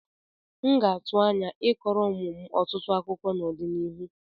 M ga-atụ anya I kọọrọ ụmụ m ọtụtụ akụkọ n'ọdịnihu.